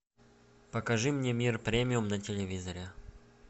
покажи мне мир премиум на телевизоре